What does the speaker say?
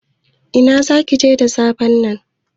Ina zaka je da safen nan?